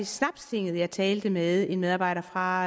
snapstinget jeg talte med en medarbejder fra